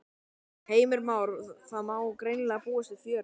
Heimir Már: Það má greinilega búast við fjöri?